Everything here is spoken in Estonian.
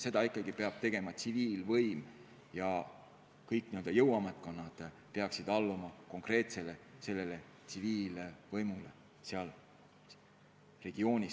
Seda ikkagi peab tegema tsiviilvõim ja kõik jõuametkonnad peaksid kriisi lahendamisel alluma konkreetsele tsiviilvõimule konkreetses regioonis.